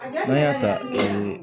N'an y'a ta